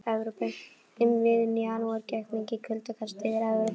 Um miðjan janúar gekk mikið kuldakast yfir Evrópu.